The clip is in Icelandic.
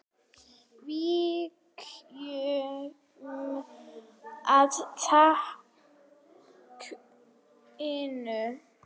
Víkjum að þakinu.